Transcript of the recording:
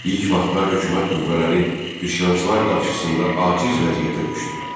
İlk vaxtlar hökumət qüvvələri üsyançılar qarşısında aciz vəziyyətə düşdü.